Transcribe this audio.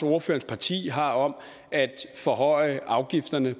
ordførerens parti har om at forhøje afgifterne